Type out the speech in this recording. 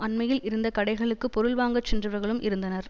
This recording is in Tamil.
அண்மையில் இருந்த கடைகளுக்கு பொருள் வாங்கச் சென்றவர்களும் இருந்தனர்